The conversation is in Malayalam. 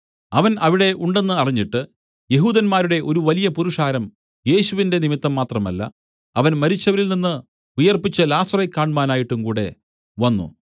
അവൻ അവിടെ ഉണ്ടെന്ന് അറിഞ്ഞിട്ട് യെഹൂദന്മാരുടെ ഒരു വലിയ പുരുഷാരം യേശുവിന്റെ നിമിത്തം മാത്രമല്ല അവൻ മരിച്ചവരിൽനിന്ന് ഉയിർപ്പിച്ച ലാസറെ കാണ്മാനായിട്ടുംകൂടെ വന്നു